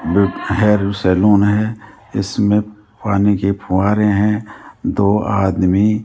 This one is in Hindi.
हेयर सैलून है इसमें पानी के फुव्वारे हैं दो आदमी --